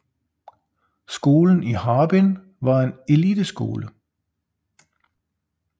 Skolen i Harbin var en eliteskole